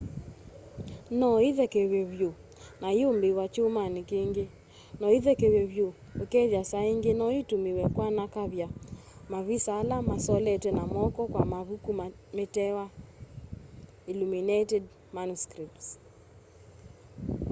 no íthekevywe vyu na iyumbííwa kyumani kingi. no íthekevywe vyu ukethia saa ingi noitumiwe kwanakavya mavisa ala masoletwe na moko kwa mavuku metawa illuminated manuscripts